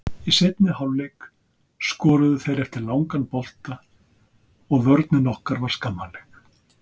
Í seinni hálfleik skoruðu þeir eftir langan bolta og vörnin okkar var skammarleg.